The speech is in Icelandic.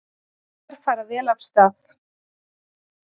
Haukar fara vel af stað